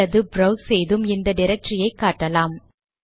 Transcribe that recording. அல்லது ப்ரௌஸ் செய்தும் இந்த டிரக்டரியை காட்டலாம்